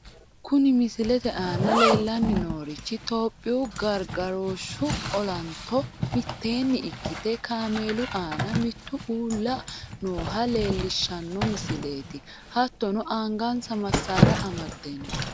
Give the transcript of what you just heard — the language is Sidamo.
Kuni misilete aana leellanni noorichi topiyu gargarooshshu olanto mitteenni ikkite kaameelu aananna mittu uulla nooha leellishshanno misileeti. hattono angansa massaara amadde no.